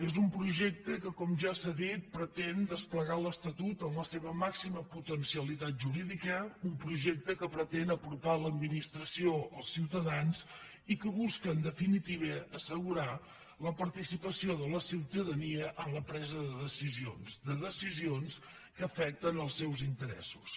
és un projecte que com ja s’ha dit pretén desplegar l’estatut en la seva màxima potencialitat jurídica un projecte que pretén apropar l’administració als ciutadans i que busca en definitiva assegurar la participació de la ciutadania en la presa de decisions de decisions que afecten els seus interessos